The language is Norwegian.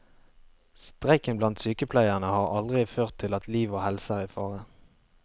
Streiken blant sykepleierne har aldri ført til at liv og helse er i fare.